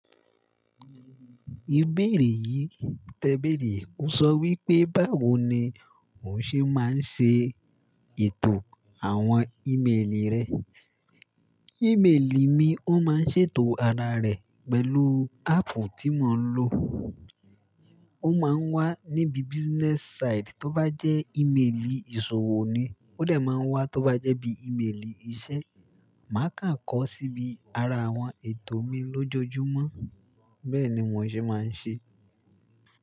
Ìbéèrè yìí tẹ béèrè, ó sọ wípé, báwo ni ó ṣe máa ń ṣe ètò àwọn ímélì rẹ? Ìmélì mi ó máa ń ṣètò ara rẹ̀ pẹ̀lú áàpù tí mo ń lò. Ó máa ń wà níbi business side tó bá jẹ́ ímélì ìṣòwò ni, ó dà máa ń wà tó bá jẹ́ bí ímélì iṣẹ́. Màá kà ń kọ síbi ara àwọn ètò mi lójoojúmọ́. Bẹ́ẹ̀ ni mò ṣe máa ń ṣe.